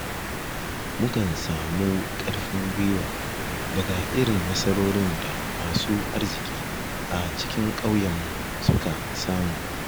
Mukan samun ƙarfin gwuiwa daga irin nasarorin da masu arziki a cikin ƙauyenmu suka samu